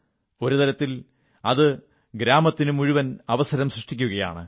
ഒരു തരത്തിൽ അത് ഗ്രാമത്തിനു മുഴുവൻ അവസരം സൃഷ്ടിക്കയാണ്